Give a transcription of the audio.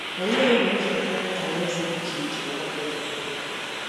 Olee Ụlọ Nzukọ Alaeze dị iche iche ọgbakọ ji mee ihe?